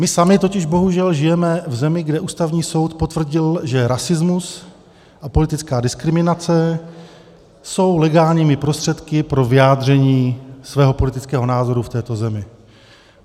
My sami totiž bohužel žijeme v zemi, kde Ústavní soud potvrdil, že rasismus a politická diskriminace jsou legálními prostředky pro vyjádření svého politického názoru v této zemi.